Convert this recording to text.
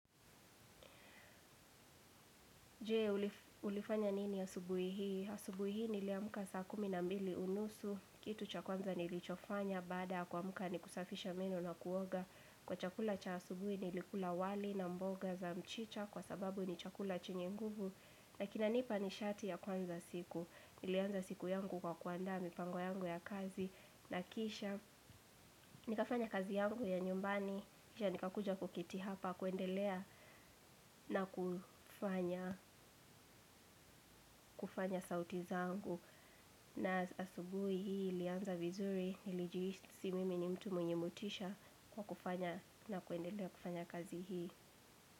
Je, ulifanya nini ya subuhi hii? Asubuhi hii niliamka saa kumi na mbili unusu. Kitu cha kwanza nilichofanya baada kuamka ni kusafisha meno na kuoga. Kwa chakula cha asubuhi nilikula wali na mboga za mchicha kwa sababu ni chakula chenye nguvu. Na kinanipa nishati ya kuanza siku. Nilianza siku yangu kwa kuanda mipango yangu ya kazi na kisha. Nikafanya kazi yangu ya nyumbani. Kisha nikakuja kuketi hapa kuendelea na kufanya kufanya sauti zangu. Na asubui hii lianza vizuri nilijihisi mimi ni mtu mwenye motisha kwa kufanya na kuendelea kufanya kazi hii.